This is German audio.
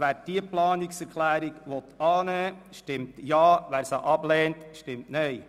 Wer diese annehmen will, stimmt Ja, wer diese ablehnt, stimmt Nein.